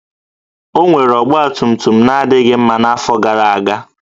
O nwere ọgbatumtum na-adịghị mma n'afọ gara aga